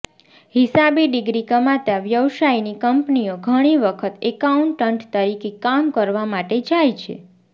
હિસાબી ડિગ્રી કમાતા વ્યવસાયની કંપનીઓ ઘણી વખત એકાઉન્ટન્ટ તરીકે કામ કરવા માટે જાય છે